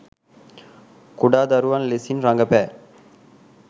කුඩා දරුවන් ලෙසින් රඟපෑ